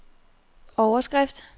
overskrift